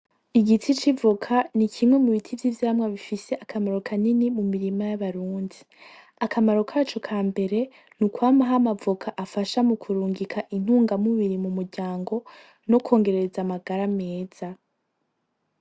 Igiti civoka nikimwe mubiti vyivyamwa bifise akamaro kanini mumurima y’abarundi. Akamaro kaco kambere nukwamaho amavoka afasha mukurungika intunga mubiri mumuryango no kwongereza amagara meza.